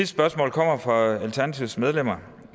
spørgsmål kommer fra alternativets medlemmer